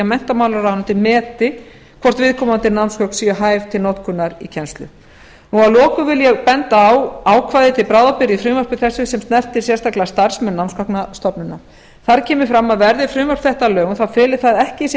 menntamálaráðuneytið meti hvort viðkomandi námsgögn séu hæf til notkunar í kennslu að lokum vil ég benda á ákvæði til bráðabirgða í frumvarpi þessu sem snertir sérstaklega starfsmenn námsgagnastofnunar þar kemur fram að verði frumvarp þetta að lögum þá feli það ekki í sér